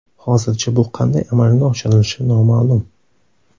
Hozircha bu qanday amalga oshirilishi noma’lum.